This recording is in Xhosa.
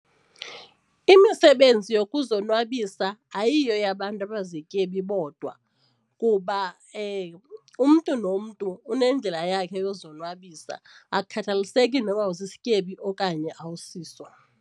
Imisebenzi yokuzonwabisa ayiyo eyabantu abazityebi bodwa kuba umntu nomntu unendlela yakhe yozonwabisa, akukhathaliseki noba usisityebi okanye awusiso.